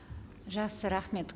жақсы рахмет